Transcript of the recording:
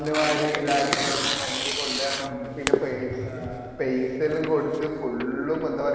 മഞ്ഞു വാരി ഇതാകണം മഞ്ഞു കൊണ്ടരണം പെയിസ ഏർ പെയിസ എല്ലും കൊടുത്ത് full എന്താ പറയാ